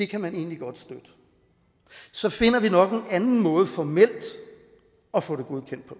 kan man egentlig godt støtte så finder vi nok en anden måde formelt at få det godkendt på